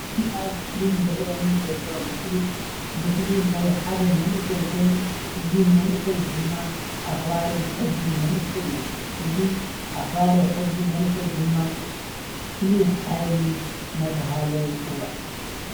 እዚ ኣብ እስክሪን ዝርኣየኒ ዘሎ ምስሊ ምስሊ ናይ ሓደ መንእሰይ ኮይኑ እዚ መንእሰይ ድማ ኣኽባሪ ሕጊ መንእሰይ እዩ። እዚ ኣኽባሪ ሕጊ መንእሰይ ድማ ፍሉይ ሓይሊ እናተብሃለ ይፅዋዕ።